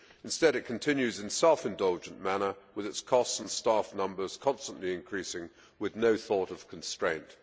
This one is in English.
Instead, it continues in a self indulgent manner, with its costs and staff numbers constantly increasing with no thought of constraint.